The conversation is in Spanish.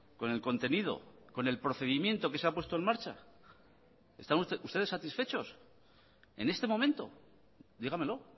con el contenido con el procedimiento que se a puesto marcha están ustedes satisfechos en este momento dígamelo